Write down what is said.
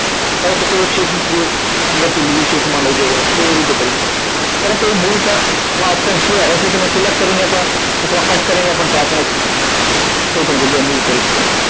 કોઈ એક શીટ ની અંદર થી બીજી શીટ માં લઈ જવો હોય તો એ રીતે કરી શકે છે પરંતુ એ move chart નો option છે અહિયાં થી તમે select કરીને પણ અથવા કટ કરીને પણ chart ને કોઈ પણ જગ્યાએ move કરી શકો છો